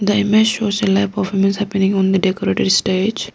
the image shows a lap of events happening on the decorated stage.